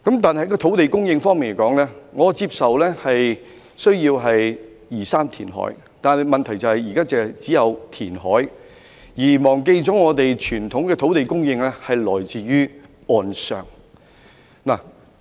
在土地供應方面，我接受香港有需要移山填海，但問題是現在只是單純填海，卻忘記了傳統的土地供應是來自岸上的。